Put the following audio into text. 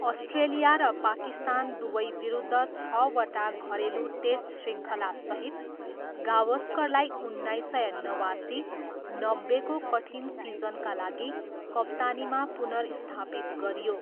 Australia र पाकिस्तान दुवैविरुद्ध छवटा घरेलु टेस्ट शृङ्खलासहित, गावस्करलाई उन्नाइस सय नवासी, नब्बेको कठिन सिजनका लागि कप्तानीमा पुनर्स्थापित गरियो।